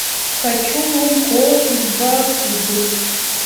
хочу в лункоу из баакубы